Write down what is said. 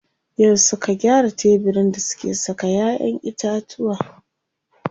Yau suka gyara tebirin da suke saka ƴaƴen itatuwa.